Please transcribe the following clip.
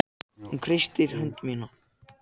Hún kreistir hönd mína.